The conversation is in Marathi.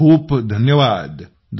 खूपखूप धन्यवाद